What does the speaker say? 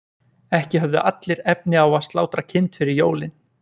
Ekki höfðu allir efni á að slátra kind fyrir jólin.